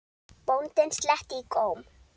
Bóndinn sletti í góm.